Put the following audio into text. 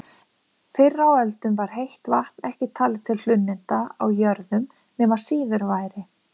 Fyrr á öldum var heitt vatn ekki talið til hlunninda á jörðum nema síður væri.